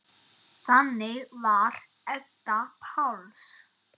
Þannig var Edda Páls.